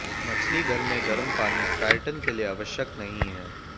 मछलीघर में गर्म पानी ट्राइटन के लिए आवश्यक नहीं है